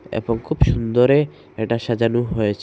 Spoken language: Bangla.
এবং খুব সুন্দরে এটা সাজানো হয়েছে।